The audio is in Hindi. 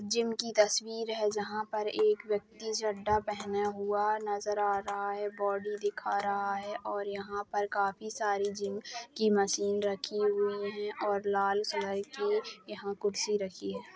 जिम की तस्वीर है जहा पर एक व्यक्ति चड्डा पेहने हुआ नजर आ रहा है बॉडी दिखा रहा है और यहाँ पर काफी सारी जिम की मशीन रखी हुई है और लाल कलर की यहाँ कुर्सी रखी है।